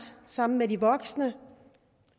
sammen med de voksne